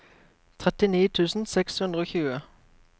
trettini tusen seks hundre og tjue